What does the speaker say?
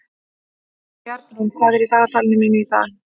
Bjarnrún, hvað er í dagatalinu mínu í dag?